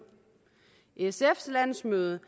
sfs landsmøde